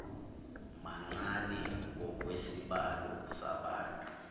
mancane ngokwesibalo sabantu